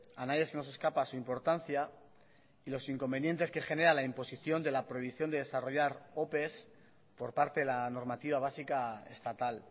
a nadie se nos escapa su importancia y los inconvenientes que genera la imposición de la prohibición de desarrollar ope por parte de la normativa básica estatal